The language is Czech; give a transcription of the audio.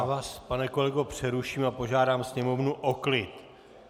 Já vás, pane kolego, přeruším a požádám Sněmovnu o klid!